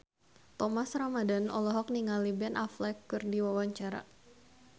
Thomas Ramdhan olohok ningali Ben Affleck keur diwawancara